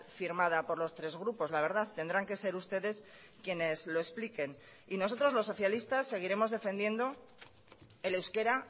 firmada por los tres grupos la verdad tendrán que ser ustedes quienes lo expliquen y nosotros los socialistas seguiremos defendiendo el euskera